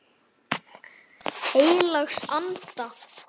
Heilags Anda.